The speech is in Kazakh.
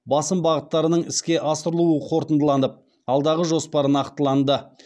басым бағыттарының іске асырылуы қорытындыланып алдағы жоспары нақтыланды